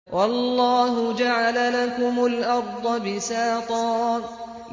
وَاللَّهُ جَعَلَ لَكُمُ الْأَرْضَ بِسَاطًا